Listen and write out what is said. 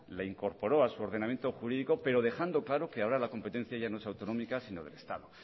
la incorporó a su ordenamiento jurídico pero dejando claro que ahora la competencia ya no es autonómica sino del estado